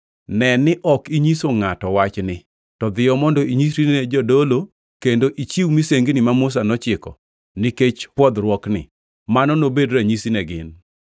“Ne ni ok inyiso ngʼato wachni. To dhiyo mondo inyisri ne jadolo kendo ichiw misengini ma Musa nochiko nikech pwodhruokni, mano nobed ranyisi ne gin.”